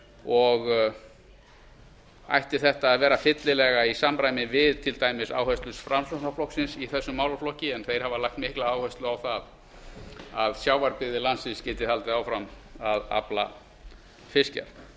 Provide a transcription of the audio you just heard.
og ætti þetta að vera fyllilega í samræmi við til dæmis áherslur framsóknarflokksins í þessum málaflokki hann hefur lagt mikla áherslu á að sjávarbyggðir landsins geti haldið áfram að afla fiskjar